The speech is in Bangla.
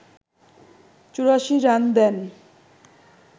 ৮৪ রান দেন